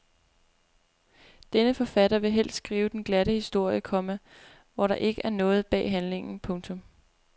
Denne forfatter vil helst skrive den glatte historie, komma hvor der ikke er noget bag handlingen. punktum